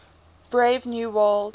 brave new world